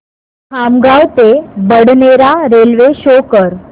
खामगाव ते Badnera railway show कर